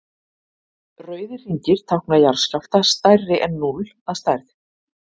rauðir hringir tákna jarðskjálfta stærri en núll að stærð